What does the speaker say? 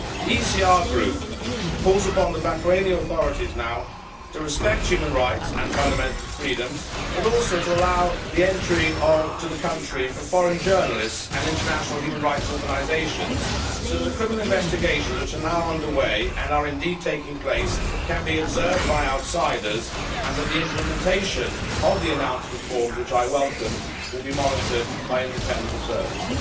The ECR Group calls upon the Bahraini authorities to respect human rights and fundamental freedoms, but also to allow entry into Bahrain for foreign journalists and international human rights organisations so that the criminal investigations which are now under way, and indeed are already taking place, can be observed by outsiders, and that the implementation of the announced reforms, which I welcome, will be monitored by independent observers.